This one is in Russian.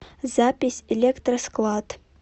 запись электросклад